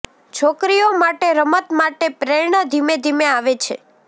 છોકરીઓ માટે રમત માટે પ્રેરણા ધીમે ધીમે આવે છે